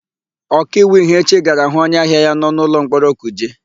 Ọkaiwu Ihechi gara hụ onyeahịa ya nọ n'ụlọmkpọrọ Kuje.